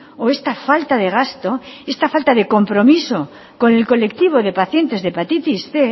o esta falta de gasto esta falta de compromiso con el colectivo de pacientes de hepatitis cien